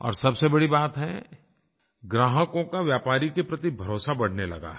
और सबसे बड़ी बात है ग्राहकों का व्यापारी के प्रति भरोसा बढ़ने लगा है